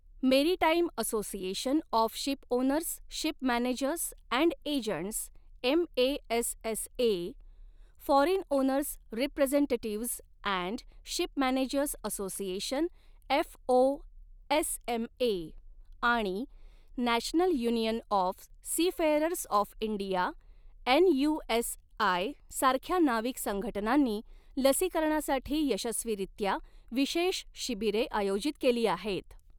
Maritime association of shipowners ship managers and agents M A S S A , foreign owners representatives and ship managers association F O S M A आणि national union of seafarers of India N U S I सारख्या नाविक संघटनांनी लसीकरणासाठी यशस्वीरित्या विशेष शिबिरे आयोजित केली आहेत.